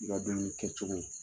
I ka dumuni kɛ cogo.